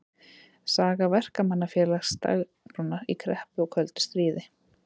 Saga Verkamannafélagsins Dagsbrúnar í kreppu og köldu stríði.